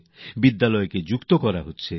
স্কুলগুলিকে যুক্ত করা হয়েছে